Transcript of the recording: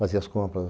Fazia as compras.